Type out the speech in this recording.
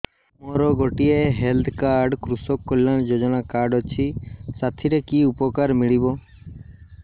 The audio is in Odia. ମୋର ଗୋଟିଏ ହେଲ୍ଥ କାର୍ଡ କୃଷକ କଲ୍ୟାଣ ଯୋଜନା କାର୍ଡ ଅଛି ସାଥିରେ କି ଉପକାର ମିଳିବ